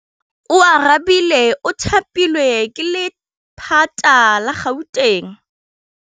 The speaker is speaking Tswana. Oarabile o thapilwe ke lephata la Gauteng.